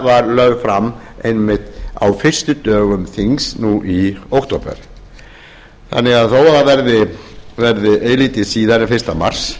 var lögð fram einmitt á fyrstu dögum þings nú í október þannig að þó að það veðri eilítið síðar en fyrsta mars